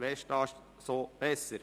‹Westast so besser›».